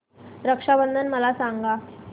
रक्षा बंधन मला सांगा